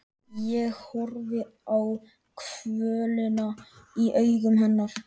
Ég horfi á kvölina í augum hennar.